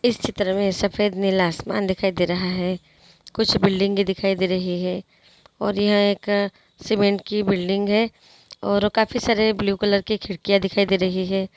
इस चित्र में सफेद नीला आसमान दिखाई दे रहा है कुछ बिल्डिंगे दिखाई दे रही है और यहाँ एक सीमेंट की बिल्डिंग है और काफी सारे ब्लू कलर के खिड़किया दिखाई दे रही है।